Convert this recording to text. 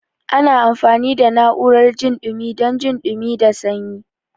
Ana amfani da na'urar jin dumi dan jin dumi da sanyi.